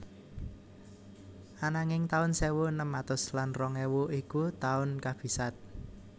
Ananging taun sewu enem atus lan rong ewu iku taun kabisat